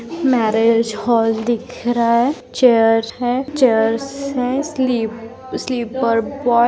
marriage hall दिख रहा है चेयर है चेयर्स है स्लिप स्लीपर बॉय --